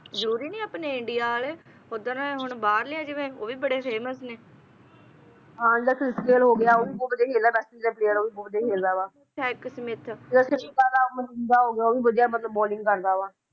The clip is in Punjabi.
ਜਰੂਰੀ ਨਹੀਂ ਆਪਣੇ ਇੰਡੀਆ ਆਲੇ ਓਧਰ ਹੁਣ ਬਾਹਰਲੇ ਹੈ ਜਿਵੇਂ ਓਹੋ ਵੀ ਬੜੇ ਫੇਮਸ ਨੇ ਹਾਂ ਜਿੱਦਾਂ ਕ੍ਰਿਸ ਗੇਲ ਹੋ ਗਿਆ ਓਹੋ ਵੀ ਬਹੁਤ ਵਧੀਆ ਖੇਲਦਾ ਵੈਸਟ ਇੰਡਿਸ ਦਾ ਪਲੇਅਰ ਓਹੋ ਵੀ ਬਹੁਤ ਖੇਲਦਾ ਵਾ ਜੈਕ ਸਮਿਥ ਆ ਸ਼੍ਰੀ ਲੰਕਾ ਦਾ ਮਲਿੰਗਾ ਓਹੋ ਵੀ ਵਧੀਆ ਮਤਲਬ bowling ਕਰਦਾ ਵਾ